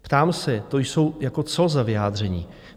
Ptám se, to jsou jako co, tahle vyjádření?